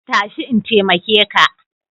Tashi in taimake ka.